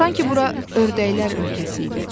Sanki bura ördəklər ölkəsi idi.